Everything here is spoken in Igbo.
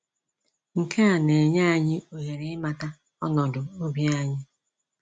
Nke a na-enye anyị ohere ịmata ọnọdụ obi anyị.